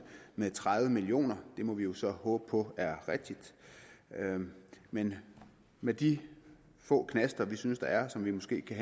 med tredive million kroner det må vi jo så håbe på er rigtigt men med de få knaster vi synes der er og som vi måske kan